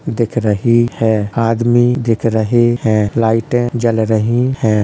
दिख रही है। आदमी दिख रहें हैं। लाइटें जल रहीं हैं।